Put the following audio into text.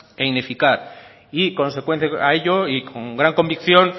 e ineficaz y consecuente a ello y con gran convicción